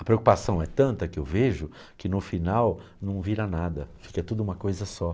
A preocupação é tanta que eu vejo que no final não vira nada, fica tudo uma coisa só.